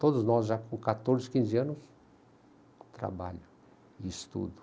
Todos nós já com quatorze, quinze anos, trabalho e estudo.